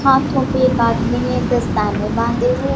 हाथों पे एक आदमी ने दस्ताने बांधे हुए--